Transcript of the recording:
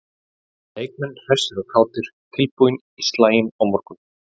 Leikmenn hressir og kátir- tilbúnir í slaginn á morgun.